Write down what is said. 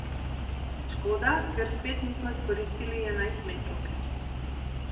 Škoda, ker spet nismo izkoristili enajstmetrovke.